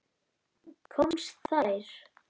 Komast þeir???